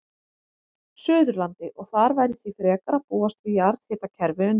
Suðurlandi, og þar væri því frekar að búast við jarðhitakerfi undir.